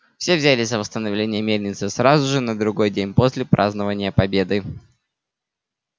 все взялись за восстановление мельницы сразу же на другой день после празднования победы